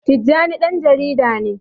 Tijjani ɗan jarida ne.